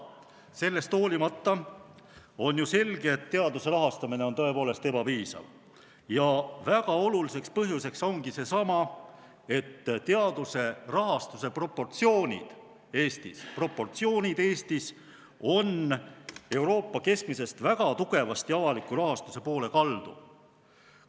Sellest hoolimata on ju selge, et teaduse rahastamine on tõepoolest ebapiisav ja väga oluliseks põhjuseks ongi, et teaduse rahastuse proportsioonid Eestis on Euroopa keskmisest väga tugevasti avaliku rahastuse poole kaldu.